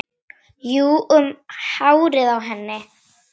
Jú, um hárið á henni!